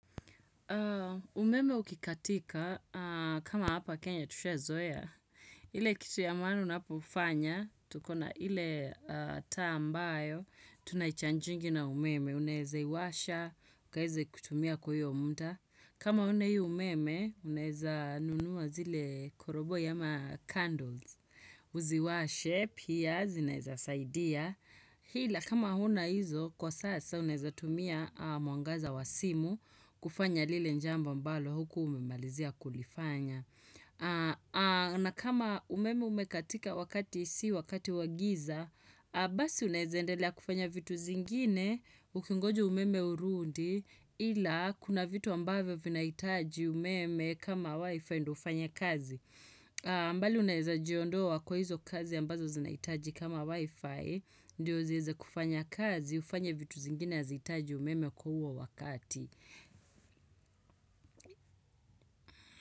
Umeme ukikatika, kama hapa Kenya tushazoe, ile kitu ya maana unapofanya, tukona ile taa ambayo, tunaichanjingi na umeme, unaweze iwasha, ukaeze kutumia kwa hiyo mda. Kama huna hiyi umeme, unaeza nunua zile koroboi ama candles, uziwashe, pia zinaeza saidia. Hila kama huna hizo kwa sasa unaezatumia mwangaza wa simu kufanya lile jambo ambalo hukuwa umemalizia kulifanya. Na kama umeme umekatika wakati si wakati wagiza, basi unazendelea kufanya vitu zingine ukingoja umeme urundi ila kuna vitu ambavyo vinahitaji umeme kama wifi ndo ufanye kazi. Mbali unaezajiondoa kwa hizo kazi ambazo zinaitaji kama wifi Ndio ziweze kufanya kazi ufanye vitu zingine hazihitaji umeme kwa huo wakati.